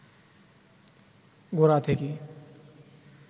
গোড়া থেকে